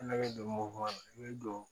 Ne bɛ don mɔkɔ na i bɛ don